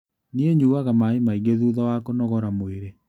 Niĩ nyuaga maĩ maingĩ thutha wa kũnogora mwĩrĩ.